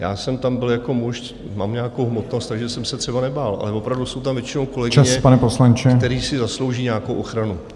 Já jsem tam byl jako muž, mám nějakou hmotnost, takže jsem se třeba nebál, ale opravdu jsou tam většinou kolegyně , které si zaslouží nějakou ochranu.